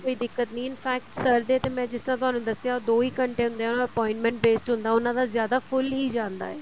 ਕੋਈ ਦਿੱਕਤ ਨਹੀਂ infect sir ਦੇ ਮੈਂ ਜਿਸ ਤਰ੍ਹਾਂ ਤੁਹਾਨੂੰ ਦੱਸਿਆ ਦੋ ਹੀ ਘੰਟੇ ਹੁੰਦੇ ਹੈ or appointment based ਹੁੰਦਾ ਹੈ ਉਹਨਾ ਦਾ ਜਿਆਦਾ full ਹੀ ਜਾਂਦਾ ਏ